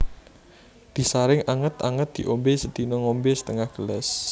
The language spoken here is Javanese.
Disaring anget anget diombe sedina ngombe setengah gelas